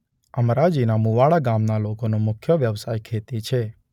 અમરાજીના મુવાડા ગામના લોકોનો મુખ્ય વ્યવસાય ખેતી છે.